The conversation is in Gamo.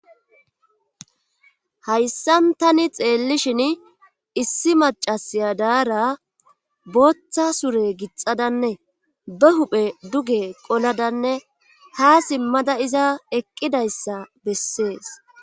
Hayssan tani xeellishin issi macasiya daara booththa sure gixadanne ba huphe duge qoladanne ha simmada iza eqqida issa bessees.